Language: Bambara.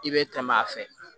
I bɛ tɛmɛ a fɛ